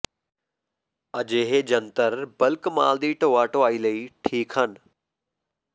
ਅਜਿਹੇ ਜੰਤਰ ਬਲਕ ਮਾਲ ਦੀ ਢੋਆ ਢੁਆਈ ਲਈ ਠੀਕ ਹਨ